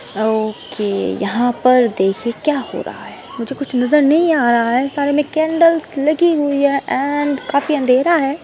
Okay यहाँ पर देखिये क्या हो रहा है मुझे कुछ नजर नहीं आ रहा है सारे में कैंडल्स लगी हुई हैं एंड काफी अंधेरा है।